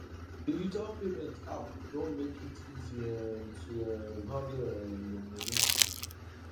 digital payment app don make it easy um to um handle um your money